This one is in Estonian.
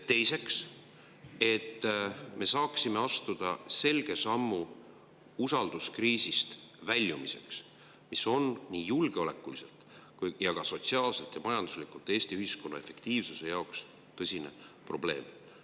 Teiseks, me saaksime astuda selge sammu selleks, et väljuda usalduskriisist, mis on nii julgeolekuliselt ja sotsiaalselt kui ka majanduslikult Eesti ühiskonna efektiivsuse jaoks tõsine probleem.